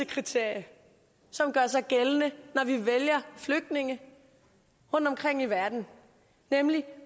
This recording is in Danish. kriterie som gør sig gældende når vi vælger flygtninge rundtomkring i verden nemlig